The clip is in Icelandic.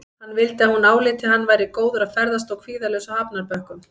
Hann vildi að hún áliti að hann væri góður að ferðast og kvíðalaus á hafnarbökkum.